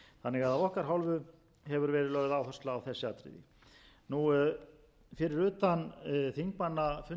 ekki af okkar hálfu hefur því verið lögð áhersla á þessi atriði fyrir utan fundi